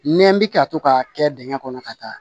Nɛ bɛ ka to k'a kɛ dingɛ kɔnɔ ka taa